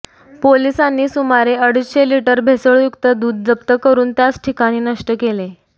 पोलिसांनी सुमारे अडीचशे लिटर भेसळयुक्त दूध जप्त करून त्याच ठिकाणी नष्ट केले